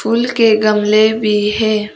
फूल के गमले भी है।